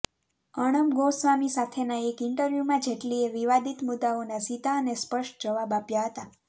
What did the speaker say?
અર્ણબ ગોસ્વામી સાથેના એક ઇન્ટરવ્યૂમાં જેટલીએ વિવાદિત મુદ્દાઓના સીધા અને સ્પષ્ટ જવાબ આપ્યા હતા